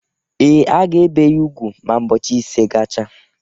Ee, a ga-ebe ya ugwu ma ụbọchị ise gacha